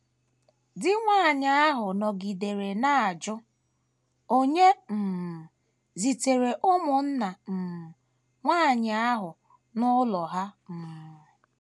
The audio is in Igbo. Di nwanyị ahụ nọgidere na - ajụ onye um zitere ụmụnna um nwanyị ahụ n’ụlọ ha. um